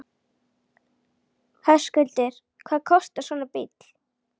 Höskuldur: Hvað kostar svona bíll?